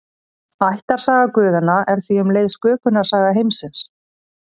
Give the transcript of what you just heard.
Ættarsaga guðanna er því um leið sköpunarsaga heimsins.